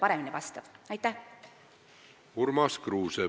Urmas Kruuse, palun!